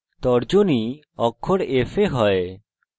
তর্জনী অক্ষর f এ হয়